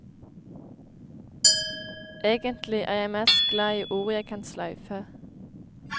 Egentlig er jeg mest glad i ord jeg kan sløyfe.